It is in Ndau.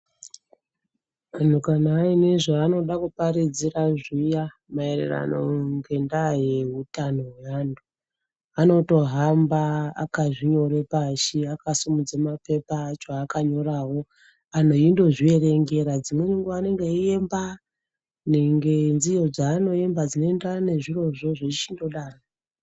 Anhu kana aine zvanoda kuparidzira zviya maererano ngendaa yeutano hweantu anotohamba akazvinyore pashi akasimudze mapepa acho akanyorawo anhu eindozvierengera dzimweni nguwa anenge eiemba ngenziyo dzanoemba dzinoenderana nezvirozvo zvechichindodaro.